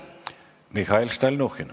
Mihhail Stalnuhhin.